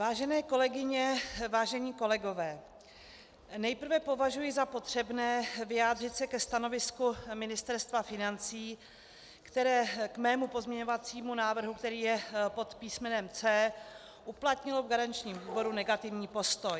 Vážené kolegyně, vážení kolegové, nejprve považuji za potřebné vyjádřit se ke stanovisku Ministerstva financí, které k mému pozměňovacímu návrhu, který je pod písmenem C, uplatnilo v garančním výboru negativní postoj.